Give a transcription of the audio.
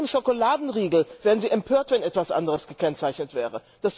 Bei jedem Schokoladenriegel wären Sie empört, wenn etwas anderes gekennzeichnet wäre.